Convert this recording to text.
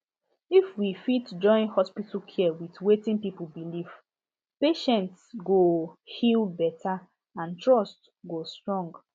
if we fit join hospital care with wetin people believe patients go heal better and trust go strong